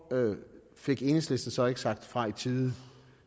fik enhedslisten så ikke sagt fra i tide